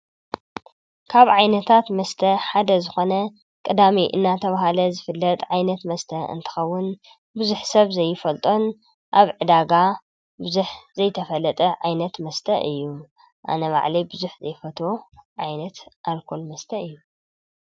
ካብ ዓይነታት መስተ ሓደ ዝኾነ ቅዳሜ እናተብሃለ ዝፍለጥ ዓይነት መስተ እንትኸዉን ብዙሕ ሰብ ዘይፈልጦን ኣብ ዕዳጋ ብዙሕ ዘይተፈለጠ ዓይነት መስተ እዩ። ኣነ ባዕለይ ብዙሕ ዘይፈትዎ ዓይነት ኣልኮል መስተ እዩ።